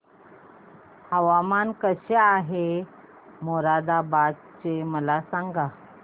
हवामान कसे आहे मोरादाबाद चे मला सांगा